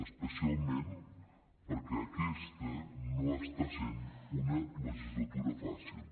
especialment perquè aquesta no està sent una legislatura fàcil